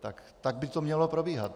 Tak by to mělo probíhat.